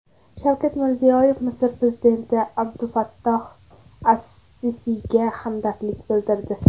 Shavkat Mirziyoyev Misr prezidenti Abdulfattoh As-Sisiyga hamdardlik bildirdi.